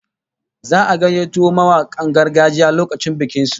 Za'a gayyato mawakan gargajiya lokacin bikin su